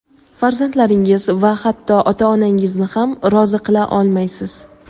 farzandlaringiz va hatto ota-onangizni ham rozi qila olmaysiz.